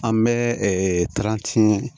An bɛ